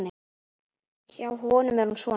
Hjá honum er hún svona